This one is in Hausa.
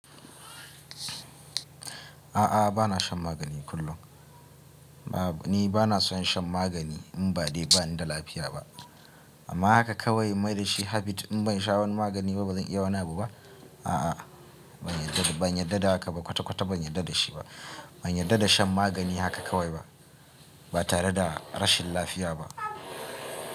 A'a, ba na shan magani kullum. Ni ba na so shan magani in ba dai ba ni da lafiya ba. Amma haka kawai in maida shi habit in ban sha wani magani ba bazan iya wani abu ba? A'a, ban yarda da haka ba kwata-kwata ban yarda da shi ba. Ban yarda da shan magani haka kawai ba, ba tare da rashin lafiya ba.